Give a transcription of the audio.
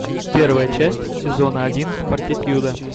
первая часть сезона один фортитьюда